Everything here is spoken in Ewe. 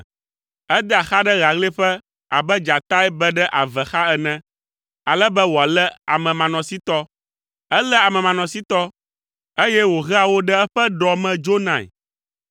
Edea xa ɖe ɣaɣlɛƒe abe dzatae be ɖe ave xa ene; ale be wòalé amemanɔsitɔ; eléa amemanɔsitɔ, eye wòhea wo ɖe eƒe ɖɔ me dzonae.